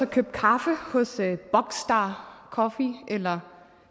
købt kaffe hos buckstar coffee eller